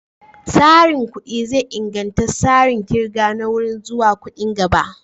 Tsarin kuɗi zai inganta tsarin ƙirga na wuri zuwa kuɗin gaba.